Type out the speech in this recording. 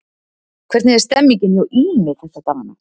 Hvernig er stemningin hjá Ými þessa dagana?